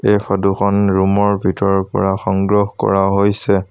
এই ফটো খন ৰুম ৰ ভিতৰৰ পৰা সংগ্ৰহ কৰা হৈছে।